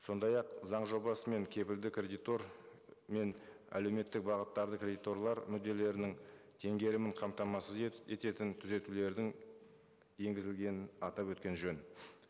сондай ақ заң жобасымен кепілді кредитор мен әлеуметтік бағыттарды кредиторлар мүдделерінің тенгерімін қамтамасыз ететін түзетулердің енгізілгенін атап өткен жөн